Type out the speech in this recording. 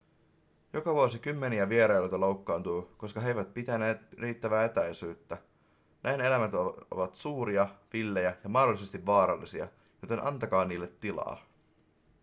joka vuosi kymmeniä vierailijoita loukkaantuu koska he eivät pitäneet riittävää etäisyyttä nämä eläimet ovat suuria villejä ja mahdollisesti vaarallisia joten antakaa niille tilaa